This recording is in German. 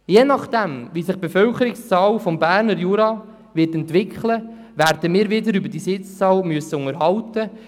Je nachdem, wie sich die Bevölkerungszahl des Berner Juras entwickeln wird, werden wir uns wieder über diese Sitzzahl unterhalten müssen.